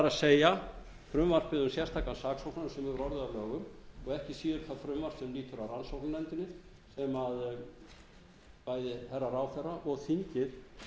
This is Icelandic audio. er frumvarpið um sérstakan saksóknara sem er orðið að lögum og ekki síður það frumvarp sem lýtur að rannsóknarnefndinni sem bæði hæstvirtan ráðherra og þingið